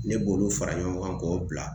Ne b'olu fara ɲɔgɔn kan k'o bila